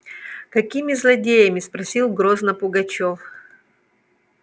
какими злодеями спросил грозно пугачёв